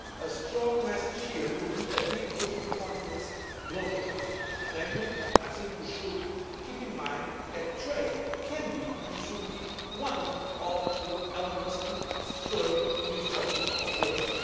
A strong message here would be a big boost to confidence globally, namely I think we should keep in mind that trade can be and should be one of the elements to spur new sources of growth.